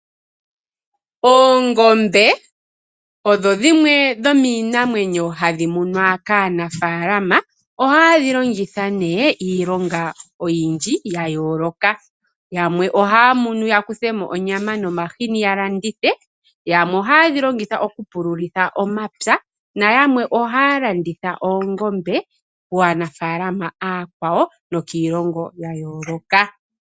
Oongombe odho dhimwe dhomiinamwenyo hadhi munwa kaanafalama. Oha yedhi longitha nee iilonga oyindji ya yoloka. Yamwe oha munu ya kuthe mo onyama nomahini ya landithe. Yamwe ohaa dhi longitha oku pululitha oomapya. Nayamwe ohaa landitha oongombe kaanafalama akwawo nokiilongo yayoloka.